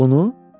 Onu?